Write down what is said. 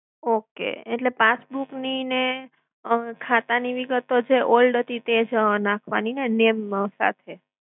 okay. એટલે passbook ની ને અમ ખાતા ની વિગતો જે old હતી તે જ નાખવાની હેને name માં.